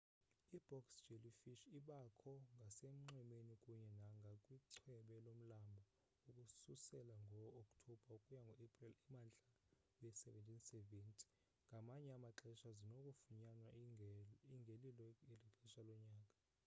i-box jellyfish ibakho ngasenxwemeni kunye nangakwichweba lomlambo ukususela ngookthobha ukuya kuaprili emntla we-1770 ngamanye amaxesha zinokufunyanwa ingelilo eli xesha lonyaka